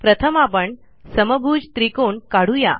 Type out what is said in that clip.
प्रथम आपण समभुज त्रिकोण काढू या